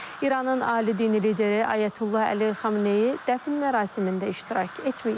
İranın ali dini lideri Ayətullah Əli Xameneyi dəfn mərasimində iştirak etməyib.